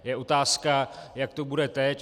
Je otázka, jak to bude teď.